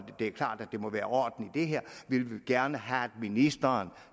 det er klart at der må være orden i det her vi vil gerne have at ministeren